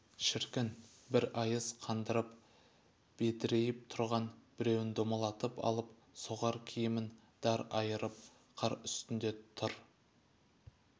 шіркін бір айыз қандырып бедірейіп тұрған біреун домалатып алып соғар киімін дар айырып қар үстінде тыр